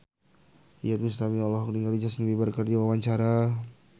Iyeth Bustami olohok ningali Justin Beiber keur diwawancara